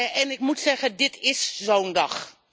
En ik moet zeggen dit is zo'n dag.